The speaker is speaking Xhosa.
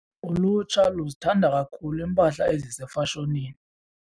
Ulutsha luzithanda kakhulu iimpahla ezisefashonini.